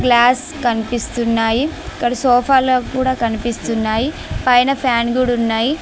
Glass కనిపిస్తున్నాయి ఇక్కడ సోఫాల కూడా కనిపిస్తున్నాయి పైన గూడా ఉన్నాయి.